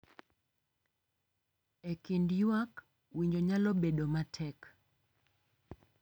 E kind ywak, winjo nyalo bedo matek,